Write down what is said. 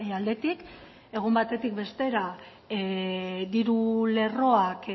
aldetik egun batetik bestera diru lerroak